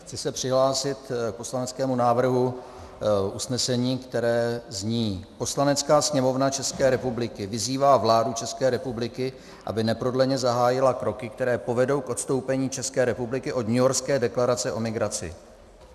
Chci se přihlásit k poslaneckému návrhu usnesení, které zní: "Poslanecká sněmovna České republiky vyzývá vládu České republiky, aby neprodleně zahájila kroky, které povedou k odstoupení České republiky od Newyorské deklarace o migraci."